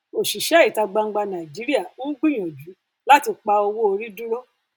òṣìṣẹ ìta gbangba nàìjíríà ń gbìyànjú láti pa owó orí dúró